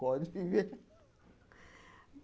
Pode viver.